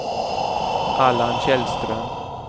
Allan Källström